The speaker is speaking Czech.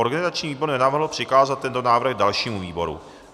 Organizační výbor nenavrhl přikázat tento návrh dalšímu výboru.